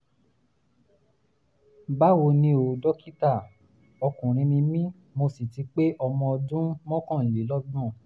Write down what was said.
báwo ni o dókítà? ọkùnrin ni mí mo sì ti pé ọmọ ọdún mọ́kànlélọ́gbọ̀n